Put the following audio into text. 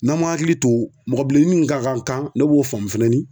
N'an m'an hakili to mɔgɔ bilenni ni min ka kan kan ne b'o faamu fɛnɛ ni